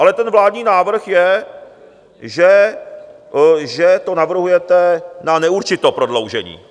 Ale ten vládní návrh je, že to navrhujete na neurčito, prodloužení.